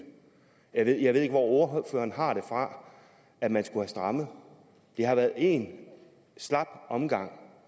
jeg ved ikke hvor ordføreren har det fra at man skulle have strammet det har været en slap omgang